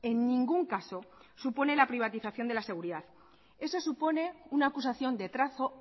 en ningún caso supone la privatización de la seguridad eso supone una acusación de trazo